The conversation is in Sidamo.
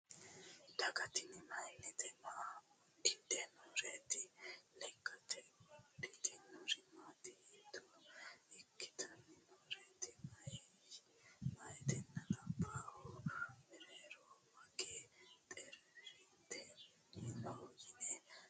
Daga tinni mayiinnite? maa udidhe nooreetti? lekkatte wodhinniro Matti? hiitto ikkanni nooreetti? Mayiittinna labbahu meerero magee xeritinyi noo yinne la'ne buuxxa dandiinnanni?